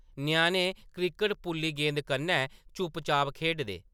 ञ्याणें क्रिकेट पुल्ली गेंद कन्नै चुप्प-चाप खेढदे ।